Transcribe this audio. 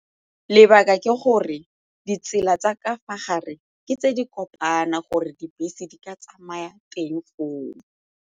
Lebaka ke gore ditsela tsa ka fa gare ke tse di kopana gore dibese di ka tsamaya teng foo.